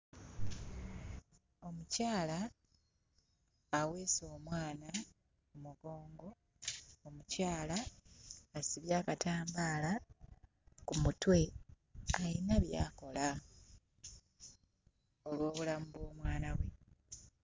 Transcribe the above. Omukyala aweese omwana mu mugongo, omukyala asibye akatambaala ku kutwe ayina by'akola olw'obulamu bw'omwana we.